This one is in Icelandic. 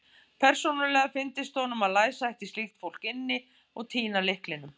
Persónulega fyndist honum að læsa ætti slíkt fólk inni og týna lyklinum.